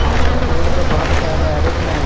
आसपास रोड पर बहुत सारे एरो बनाया हु--